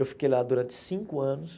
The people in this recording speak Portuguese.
Eu fiquei lá durante cinco anos.